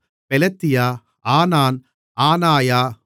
பெலத்தியா ஆனான் ஆனாயா